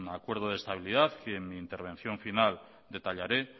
acuerdo de estabilidad que en mi intervención final detallaré